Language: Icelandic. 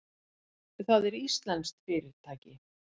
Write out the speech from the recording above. Það er íslenskt fyrirtæki.